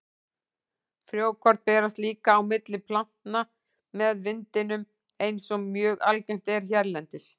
Frjókorn berast líka á milli plantna með vindinum eins og mjög algengt er hérlendis.